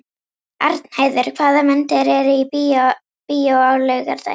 Arnheiður, hvaða myndir eru í bíó á laugardaginn?